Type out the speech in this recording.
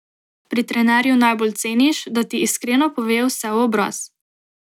Pri trenerju najbolj ceniš, da ti iskreno pove vse v obraz.